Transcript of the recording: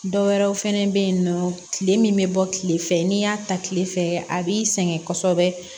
Dɔ wɛrɛw fɛnɛ be yen nɔ kile min be bɔ kile fɛ n'i y'a ta kile fɛ a b'i sɛgɛn kosɛbɛ